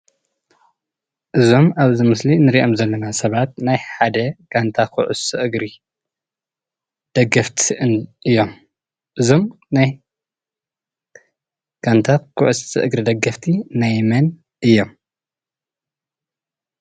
እዞም ኣብዚ ምስሊ እንሪኦም ዘለና ሰባት ናይ ሓደ ጋንታ ኩዕሶ እግሪ ደገፍቲ እዮም ።እዞም ናይ ጋንታ ኩዕሶ እግሪ ደገፍቲ ናይ መን እዮም?